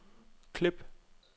klip